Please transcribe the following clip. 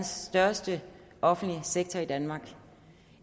største offentlige sektor i danmark